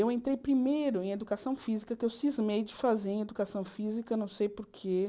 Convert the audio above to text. Eu entrei primeiro em educação física, que eu cismei de fazer em educação física, não sei por quê.